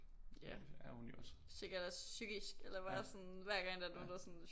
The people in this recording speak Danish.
Ja sikkert også psykisk eller bare sådan hver gang der er nogen der bare sådan